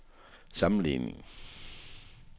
sammenligning